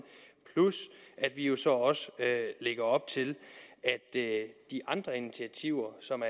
plus at vi jo så lægger op til at de andre initiativer som